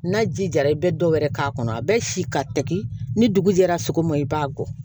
N'a ji jara i bɛ dɔ wɛrɛ k'a kɔnɔ a bɛ si ka tɛgɛ ni dugu jɛra sogo ma i b'a bɔ